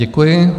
Děkuji.